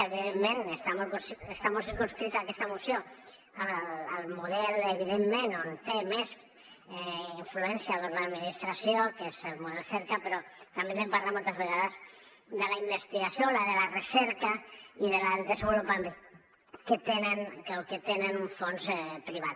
evidentment està molt circumscrita aquesta moció al model evidentment on té més influència l’administració que és el model cerca però també n’hem parlat moltes vegades de la investigació de la recerca i del desenvolupament que tenen un fons privat